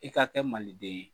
I ka kɛ maliden ye.